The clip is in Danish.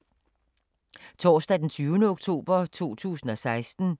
Torsdag d. 20. oktober 2016